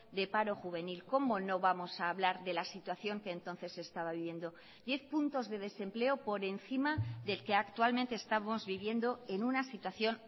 de paro juvenil cómo no vamos a hablar de la situación que entonces se estaba viviendo diez puntos de desempleo por encima del que actualmente estamos viviendo en una situación